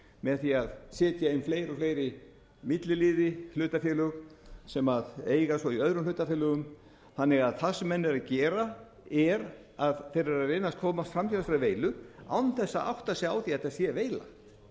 með því að setja inn fleiri og fleiri milliliði hlutafélög sem eiga svo í öðrum hlutafélögum þannig að það sem menn eru að gera er að þeir eru að reyna að komast fram hjá þessari veilu án þess að átta sig á því að þetta sé veila